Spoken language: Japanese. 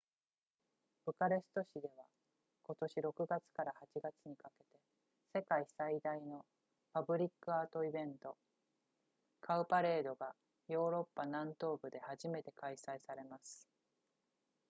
ブカレスト市では今年6月から8月にかけて世界最大のパブリックアートイベントカウパレードがヨーロッパ南東部で初めて開催されます